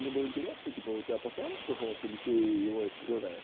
мне было интересно типа у тебя постоянно только голос или ты его искривляешь